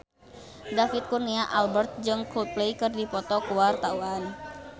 David Kurnia Albert jeung Coldplay keur dipoto ku wartawan